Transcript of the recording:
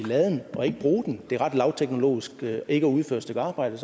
og laden og ikke bruge det er ret lavteknologisk ikke at udføre et stykke arbejde